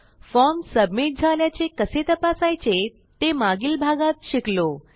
form submit झाल्याचे कसे तपासायचे ते मागील भागात शिकलो